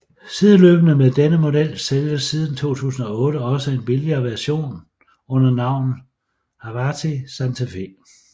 Sideløbende med denne model sælges siden 2008 også en billigere version under navnet Hawtai Santa Fe